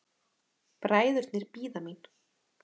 Bræðurnir bíða mín.